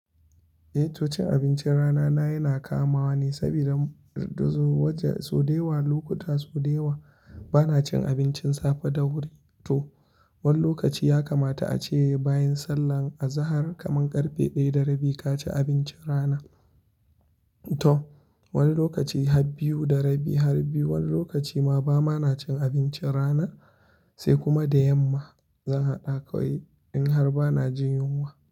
Eh, to cin abincin rana na yana kamawa ni sabida duzu waje sau da yawa, lokuta sau da yawa bana cin abincin safe da wuri. To, wani lokaci ya kamata ace bayan sallah azahar kaman karfe ɗaya da rabi ka ci abincin rana. To, wani lokaci har biyu da rabi, har biyu, wani lokaci ma ba ma na cin abincin rana, sai kuma da yamma. Zan haɗa kawai in har bana jin yunwa.